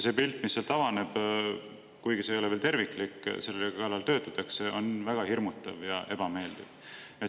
See pilt, mis avaneb, kuigi see ei ole veel terviklik, selle kallal töötatakse, on väga hirmutav ja ebameeldiv.